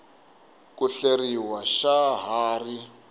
ku hleriw xa ha ri